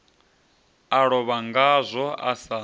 a lovha ngazwo a sa